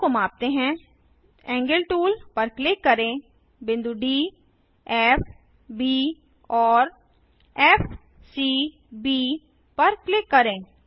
कोणों को मापते हैंAngle टूल पर क्लिक करें बिंदु डी फ़ ब और फ़ सी ब पर क्लिक करें